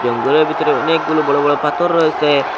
এনং গড়ের ভিতরে অনেকগুলো বড় বড় পাথর রয়েছে।